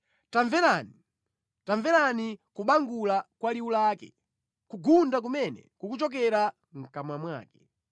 Tamverani! Tamverani kubangula kwa liwu lake, kugunda kumene kukuchokera mʼkamwa mwake.